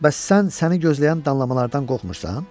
Bəs sən səni gözləyən danlamalardan qorxmursan?